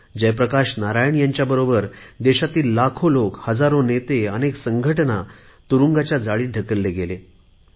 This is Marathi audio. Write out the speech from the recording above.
जयप्रकाश नारायण यांच्याबरोबर देशातील लाखो लोक हजारो नेते अनेक संगठनांना तुरुंगात ढकलले गेले